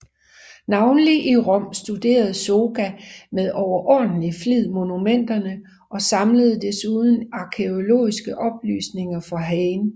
Navnlig i Rom studerede Zoega med overordentlig flid monumenterne og samlede desuden arkæologiske oplysninger for Heyne